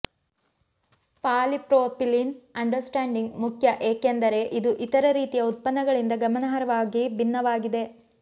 polypropylene understanding ಮುಖ್ಯ ಏಕೆಂದರೆ ಇದು ಇತರ ರೀತಿಯ ಉತ್ಪನ್ನಗಳಿಂದ ಗಮನಾರ್ಹವಾಗಿ ಭಿನ್ನವಾಗಿದೆ